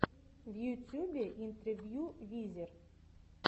в ютьюбе интервью визер